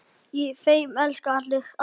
Í þeim elska allir alla.